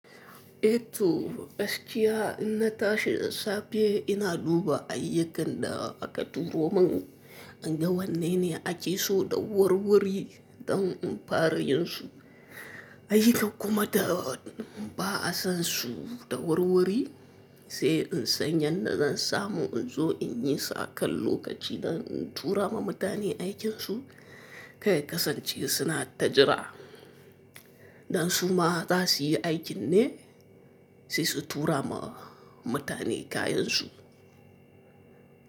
Eh to, gaskiya inna tashi da safe ina duba ayyukan da aka turo min, inga wanne ne ake so da wurwuri don in fara yin su ayyukan kuma da ba'a san su da wurwuri sai in san yadda zan samu in zo in yi su akal lokaci don in tura ma mutane aikinsu karya kasance suna ta jira. Dan su ma za suyi aikin ne sai su tura ma mutane kayansu.